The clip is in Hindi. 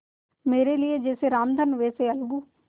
मेरे लिए जैसे रामधन वैसे अलगू